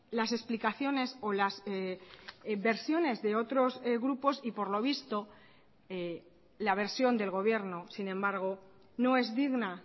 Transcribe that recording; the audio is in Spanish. las explicaciones o las versiones de otros grupos y por lo visto la versión del gobierno sin embargo no es digna